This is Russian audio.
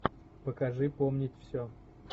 покажи помнить все